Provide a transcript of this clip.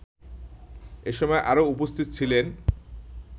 এসময় আরও উপস্থিত ছিলেন